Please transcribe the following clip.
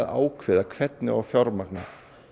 ákveða hvernig á að fjármagna